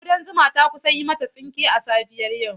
Ƙudan zuma ta kusa yi mata tsinke a safiyar yau.